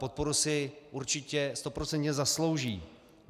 Podporu si určitě stoprocentně zaslouží.